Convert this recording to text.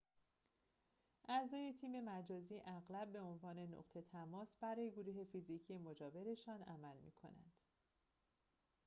اعضای تیم مجازی اغلب به عنوان نقطه تماس برای گروه فیزیکی مجاورشان عمل می‌کنند